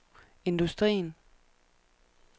industrien